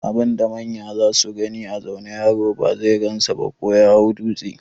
Abun da manya zasu gani a zaune, yaro ba zai gansa ba ko ya hau dūtse.